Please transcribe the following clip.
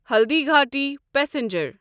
Haldighati passenger